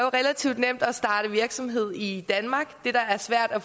relativt nemt at starte virksomhed i danmark det der er svært er